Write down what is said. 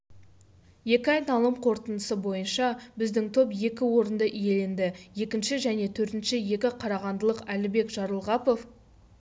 екі айналым қортыныдысы бойынша біздің топ екі орынды иеленді екінші және төртінші екі қарағандылық әлібек жарылғапов